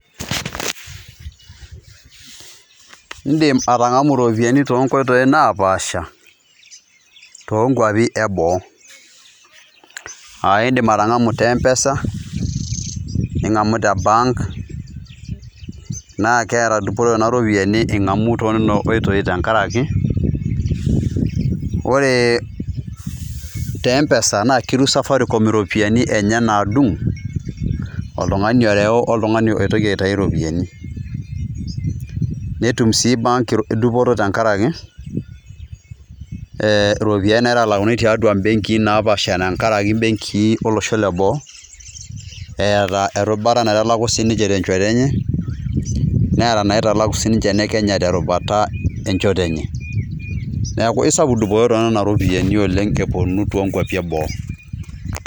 Indim atangamu iropiyiani too nkoitoi naapasha too nkwapi eboo , aa indim atangamu te mpesa ,ningamu te bank ,naa keeta dupoto nena ropiyiani ingamu too nena oitoi tenkaraki ,ore te empesa naa keru safaricom iropiyiani enye nadung ,oltungani oreu oltungani oitoki aitayu iropiyiani .netum sii bank dupoto tenkaraki ee iropiyiani naitalakuni tiatua ibenki naapasha tenkaraki ibenkii ibenkii olosho le boo ,eeta erubata sii niche naitalaku tenchoto enye ,neeta inaitalaku siiniche ine kenya terubata enchoto enye .niaku isapuk dupoto oleng too nena ropiyiani eponu too nkwapi e boo.